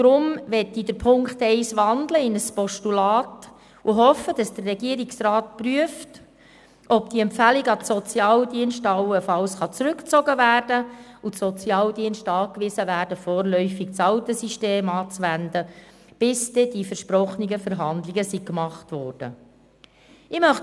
Deshalb möchte ich Punkt 1 in ein Postulat wandeln und hoffe, dass der Regierungsrat prüft, ob die Empfehlung an die Sozialdienste allenfalls zurückgezogen werden kann und diese angewiesen werden können, vorläufig das alte System anzuwenden, bis dann die versprochenen Verhandlungen durchgeführt worden sind.